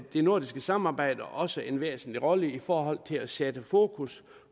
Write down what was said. det nordiske samarbejde også en væsentlig rolle i forhold til at sætte fokus